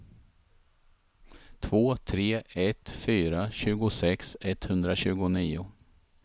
två tre ett fyra tjugosex etthundratjugonio